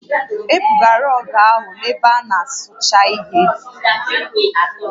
E bugara rọọgụ ahụ na ebe a na-asụcha ihe